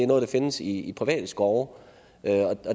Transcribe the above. noget der findes i private skove